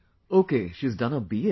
Ok she has done her BA